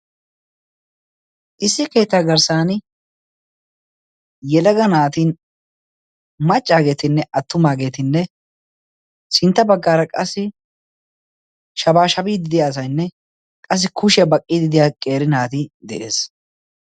issi keetta garsan macaagetinne attumaagetti yelaga naati qassi sinta bagaara shabaashabiya asay de'ees.